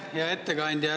Hea ettekandja!